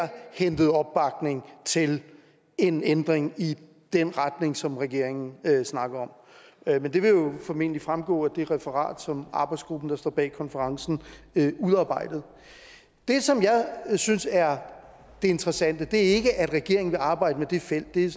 hentede opbakning til en ændring i den retning som regeringen snakkede om men det vil jo formentlig fremgå af det referat som arbejdsgruppen der står bag konferencen udarbejdede det som jeg synes er det interessante er ikke at regeringen vil arbejde med det felt det er